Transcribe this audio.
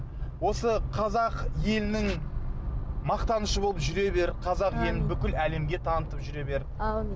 осы қазақ елінің мақтанышы болып жүре бер қазақ елін бүкіл әлемге танытып жүре бер әумин